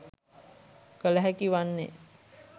කළ හැකි වන්නේ